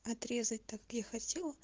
отрезать так я хотела